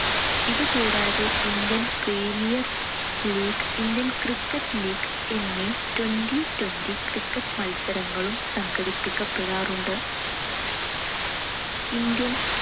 ഇതു കൂടാതെ Indian premier league, Indian cricket league എന്നീ twenty twenty cricket മത്സരങ്ങളും സംഘടിപ്പിക്കപ്പെടാറുണ്ട്. ഇന്ത്യൻ